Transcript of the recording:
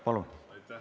Palun!